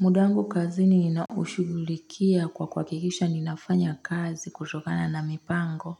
Muda wangu kazini ninaushugulikia kwa kwa kuhakikisha ninafanya kazi kutokana na mipango